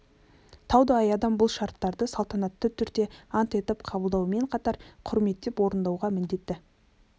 таудай адам бұл шартты салтанатты түрде ант етіп қабылдаумен қатар құрметтеп орындауға міндетті